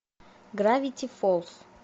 гравити фолз